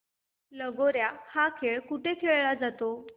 लगोर्या हा खेळ कुठे खेळला जातो